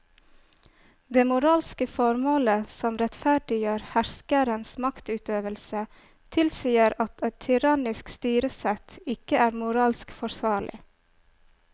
Det moralske formålet som rettferdiggjør herskerens maktutøvelse tilsier at et tyrannisk styresett ikke er moralsk forsvarlig.